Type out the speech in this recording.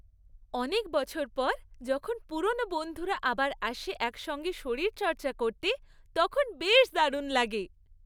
অনেক বছর পর যখন পুরনো বন্ধুরা আবার আসে একসঙ্গে শরীরচর্চা করতে, তখন বেশ দারুণ লাগে।